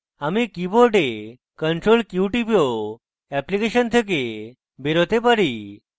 আমি keyboard ctrl q টিপে ও অ্যাপ্লিকেশন থেকে বেরোতে পারি